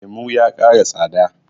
lemo ya ƙara tsada